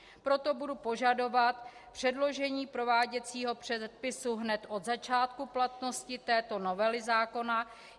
Proto budu požadovat předložení prováděcího předpisu hned od začátku platnosti této novely zákona.